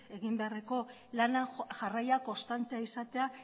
egin beharreko lana jarraia konstantea izatea